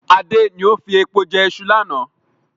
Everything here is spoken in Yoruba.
Adé ni ó fi epo jẹ ìṣù lánà